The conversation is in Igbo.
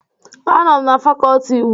Anọ m na fakọltị iwu